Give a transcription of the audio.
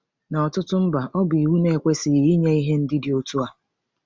N’ọ̀tụtụ mba, ọ bụ iwu na-ekwesịghị iyi ihe ndị dị otu a.